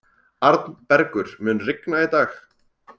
Arnbergur, mun rigna í dag?